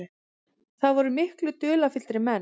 Það voru miklu dularfyllri menn.